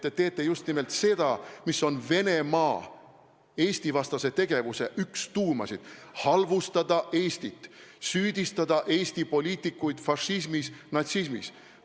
Te teete just nimelt seda, mis on üks Venemaa Eesti-vastase tegevuse tuumasid: halvustada Eestit, süüdistada Eesti poliitikuid fašismis, natsismis.